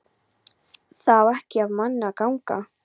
Það á ekki af manni að ganga!